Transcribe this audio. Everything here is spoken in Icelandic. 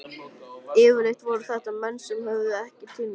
Yfirleitt voru þetta menn sem höfðuðu ekki til mín.